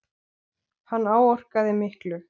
Hann áorkaði miklu.